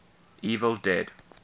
evil dead